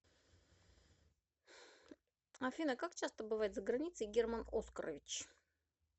афина как часто бывает за границей герман оскарович